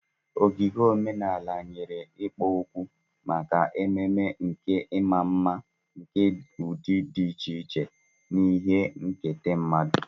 Ogige omenala nyere ikpo okwu maka ememe nke ịma mma nke ụdị dị iche iche na ihe nketa mmadụ.